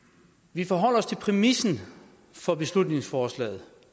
vi forholder os til præmissen for beslutningsforslaget